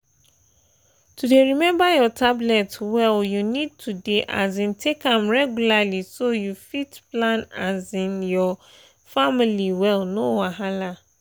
to dey remember your tablet well you need to dey um take am regularly so you fit plan um your family well no wahala.